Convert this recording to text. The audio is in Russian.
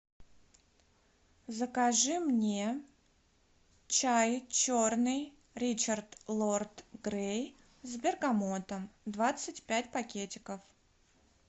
закажи мне чай черный ричард лорд грей с бергамотом двадцать пять пакетиков